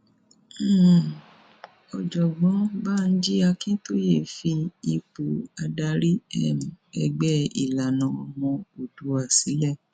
um ọjọgbọn banji akintaye fi ipò adarí um ẹgbẹ ìlànà ọmọ oòdùà sílẹ